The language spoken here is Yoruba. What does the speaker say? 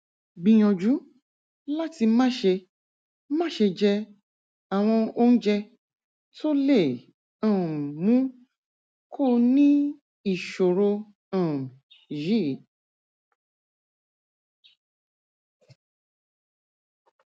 gbìyànjú láti máṣe máṣe jẹ àwọn oúnjẹ tó lè um mú kó o ní ìṣòro um yìí